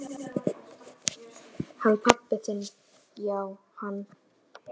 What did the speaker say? Hann pabbi þinn já, hann.